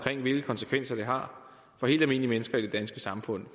om hvilke konsekvenser det har for helt almindelige mennesker i det danske samfund